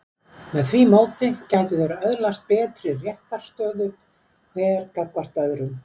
Með því móti gætu þeir öðlast betri réttarstöðu hver gagnvart öðrum.